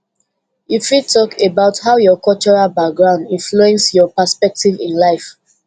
you fit talk about how your cultural background influence your perspective in life